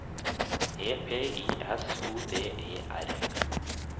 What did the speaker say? E P I S O D E R